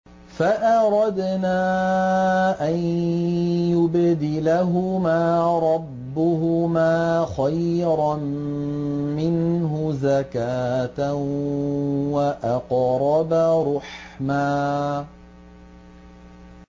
فَأَرَدْنَا أَن يُبْدِلَهُمَا رَبُّهُمَا خَيْرًا مِّنْهُ زَكَاةً وَأَقْرَبَ رُحْمًا